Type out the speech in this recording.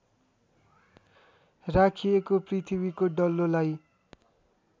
राखिएको पृथ्वीको डल्लोलाई